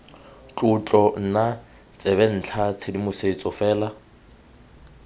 tlotlo nna tsebentlha tshedimosetso fela